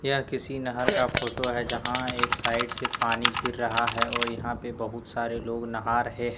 यह किसी नहर का फोटो है जहां एक साइड से पानी गिर रहा हैं और यहां पे बहुत सारे लोग नहां रहे हैं।